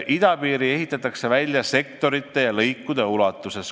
Idapiiri ehitatakse välja sektorite ja lõikude ulatuses.